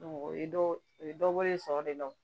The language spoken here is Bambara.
o ye dɔ o ye dɔ bɔlen sɔrɔ de la